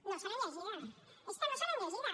no se l’han llegida és que no se l’han llegida